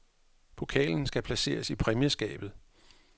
Pokalen skal placeres i præmieskabet.